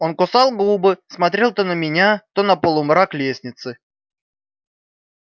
он кусал губы смотрел то на меня то на полумрак лестницы